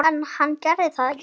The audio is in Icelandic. En hann gerir það ekki.